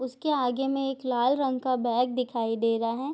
उसके आगे में एक लाल रंग का बैग दिखाई दे रहा है।